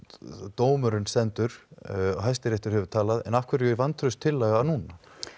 dómurinn stendur Hæstiréttur hefur talað af hverju vantrauststillaga núna